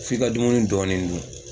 F'i ka dumuni dɔɔni dun.